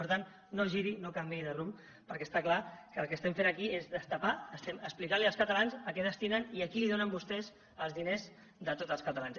per tant no giri no canviï de rumb perquè està clar que el que estem fent aquí és destapar estem explicant als catalans a què destinen i a qui donen vostès els diners de tots els catalans